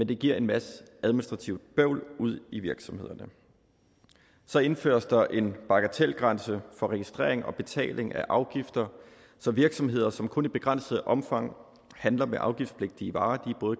det giver en masse administrativt bøvl ude i virksomhederne så indføres der en bagatelgrænse for registrering og betaling af afgifter så virksomheder som kun i begrænset omfang handler med afgiftspligtige varer